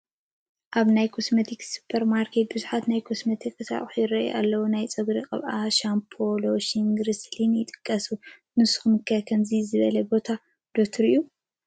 ኣብ ናይ ኮስሞቲክስ ሱፐርማርኬት ብዙሓት ናይ ኮስሞቲክስ ኣቑሑት ይራኣዩ ኣለው፡፡ ናይ ፀጉሪ ቅብኣታት፣ ሻምቦ፣ ሎሽንን ግሪስሊንን ይጥቀሱ፡፡ ንስኹም ከ ከምዚ ዝበለ ቦታ ዶ ትሪኡ?